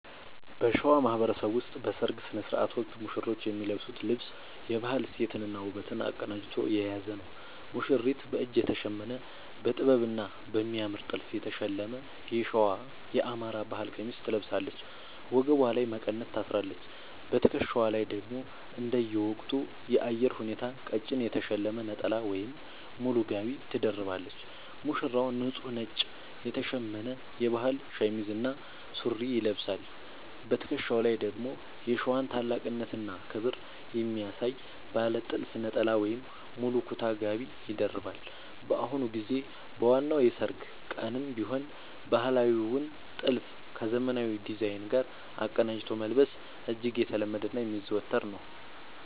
በሸዋ ማህበረሰብ ውስጥ በሠርግ ሥነ ሥርዓት ወቅት ሙሽሮች የሚለብሱት ልብስ የባህል እሴትንና ውበትን አቀናጅቶ የያዘ ነው፦ ሙሽሪት፦ በእጅ የተሸመነ: በጥበብና በሚያምር ጥልፍ የተሸለመ የሸዋ (የአማራ) ባህል ቀሚስ ትለብሳለች። ወገቧ ላይ መቀነት ታስራለች: በትከሻዋ ላይ ደግሞ እንደየወቅቱ የአየር ሁኔታ ቀጭን የተሸለመ ነጠላ ወይም ሙሉ ጋቢ ትደርባለች። ሙሽራው፦ ንጹህ ነጭ የተሸመነ የባህል ሸሚዝ እና ሱሪ ይለብሳል። በትከሻው ላይ ደግሞ የሸዋን ታላቅነትና ክብር የሚያሳይ ባለ ጥልፍ ነጠላ ወይም ሙሉ ኩታ (ጋቢ) ይደርባል። በአሁኑ ጊዜ በዋናው የሠርግ ቀንም ቢሆን ባህላዊውን ጥልፍ ከዘመናዊ ዲዛይን ጋር አቀናጅቶ መልበስ እጅግ የተለመደና የሚዘወተር ነው።